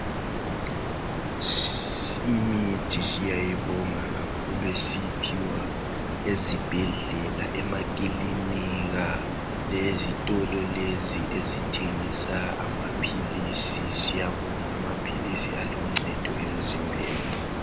imithi siyayibonga kakhulu esiyiphiwa ezibhedlela emakilinika lezitolo lezi ezithengisa amaphilisi siyabonga amaphilisi aluncedo emzimbeni